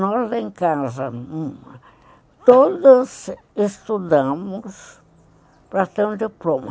Nós, lá em casa, todas estudamos para ter um diploma.